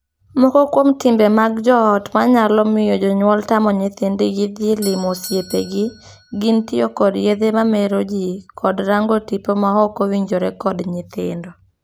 Moko kuom timbe mag joot ma nyalo miyo jonyuol tamo nyithindgi dhii limoo osiepegi gin tiyo kod yedhe mamero jii kod rango tipo ma ok owinjore kod nyithindo.